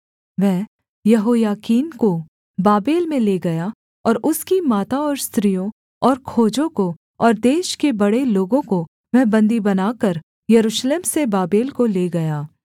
वह यहोयाकीन को बाबेल में ले गया और उसकी माता और स्त्रियों और खोजों को और देश के बड़े लोगों को वह बन्दी बनाकर यरूशलेम से बाबेल को ले गया